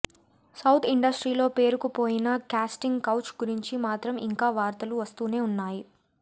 south ఇండస్ట్రీలో పేరుకుపోయిన casting couch గురించి మాత్రం ఇంకా వార్తలు వస్తూనే ఉన్నాయి